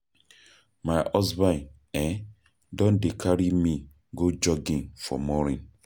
My husband um Don dey carry me go jogging for morning